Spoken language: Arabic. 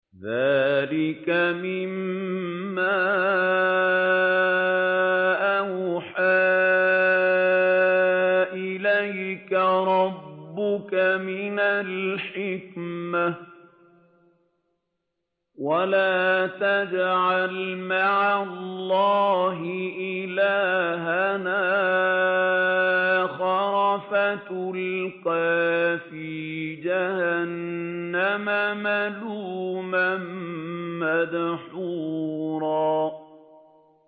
ذَٰلِكَ مِمَّا أَوْحَىٰ إِلَيْكَ رَبُّكَ مِنَ الْحِكْمَةِ ۗ وَلَا تَجْعَلْ مَعَ اللَّهِ إِلَٰهًا آخَرَ فَتُلْقَىٰ فِي جَهَنَّمَ مَلُومًا مَّدْحُورًا